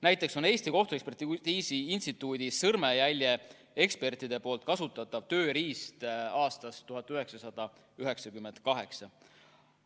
Näiteks on Eesti Kohtuekspertiisi Instituudi sõrmejäljeekspertide kasutatav tööriist aastast 1998.